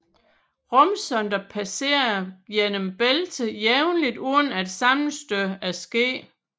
Rumsonder passerer gennem bæltet jævnligt uden at sammenstød er sket